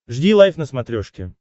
жди лайв на смотрешке